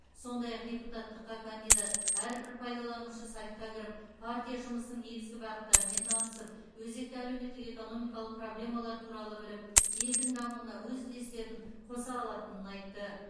сондай ақ депутаттыққа кандидат әрбір пайдаланушы сайтқа кіріп партия жұмысының негізгі бағыттарымен танысып өзекті әлеуметтік экономикалық проблемалар туралы біліп елдің дамуына өз үлестерін қоса алатынын айтты